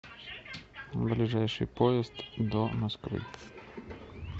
ближайший поезд до москвы